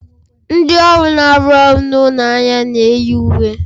Ndị ọrụ na-arụ ọrụ n'ụlọ ahịa na-eyi uwe